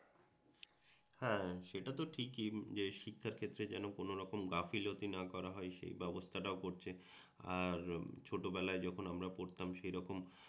হ্যাঁ, সেটা তো ঠিকই যে শিক্ষার ক্ষেত্রে যেন কোনরকম গাফিলতি না করা হয় সেই ব্যবস্থাটাও করছেন আর ছোটবেলায় যখন আমরা পড়তাম সেই রকম